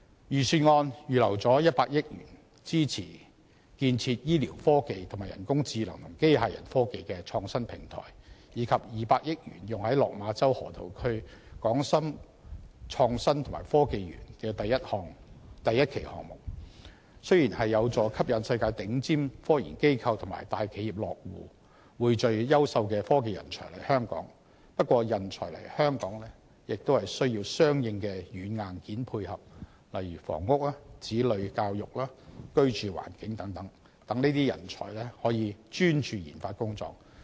預算案預留了100億元支持建設醫療科技和人工智能及機械人科技的創新平台，以及200億元用於落馬洲河套區港深創新及科技園第一期項目，雖然有助吸引世界頂尖科研機構與大企業落戶，匯聚優秀的科技人才來港，但人才來港也要有相應的軟硬件配合，例如房屋、子女教育、居住環境等，讓這些人才專注研發工作。